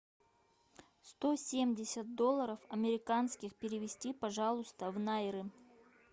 сто семьдесят долларов американских перевести пожалуйста в найры